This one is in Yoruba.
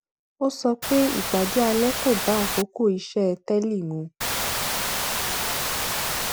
ó sọ pé ìpàdé alẹ kọ bá àkókò iṣé télè mu